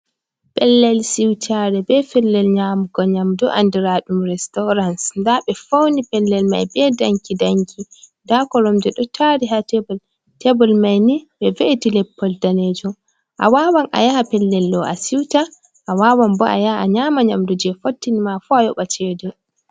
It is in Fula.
Pellel siutare ɓe pellel nyamugo nyamdo andiraa ɗum resturans. Nda ɓe fauni pellel mai ɓe danki-danki, nda koromje ɗo taari ha tebal, tebal mai ni ɓe ve’iti leppol danejo. A wawan a yaha pellel ɗo a siuta, a wawan bo a yaha a nyama nyamdu je fottin ma fuu a yoɓa cede.